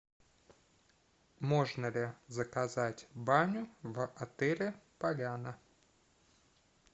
можно ли заказать баню в отеле поляна